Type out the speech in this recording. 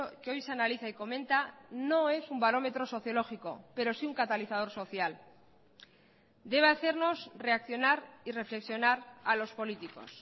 que hoy se analiza y comenta no es un barómetro sociológico pero sí un catalizador social debe hacernos reaccionar y reflexionar a los políticos